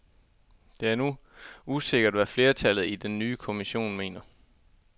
Det er nu usikkert, hvad flertallet i den nye kommission mener.